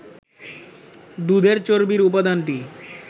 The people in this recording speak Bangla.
দুধের চর্বির উপাদানটি